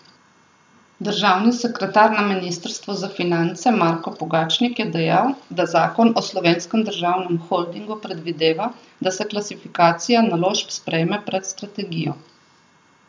Državni sekretar na ministrstvu za finance Marko Pogačnik je dejal, da zakon o Slovenskem državnem holdingu predvideva, da se klasifikacija naložb sprejme pred strategijo.